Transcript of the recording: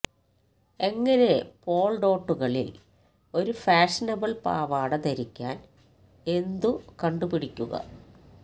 എങ്ങനെ പോൾ ഡോട്ടുകളിൽ ഒരു ഫാഷനബിൾ പാവാട ധരിക്കാൻ എന്തു കണ്ടുപിടിക്കുക